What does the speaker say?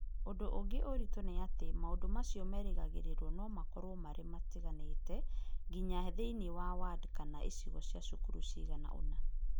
Ũndũ ũngĩ ũritũ nĩ atĩ, maũndũ macio merĩgagĩrĩrũo no makorũo marĩ matiganĩte, nginya thĩinĩ wa ward kana icigo cia cukuru cigana ũna.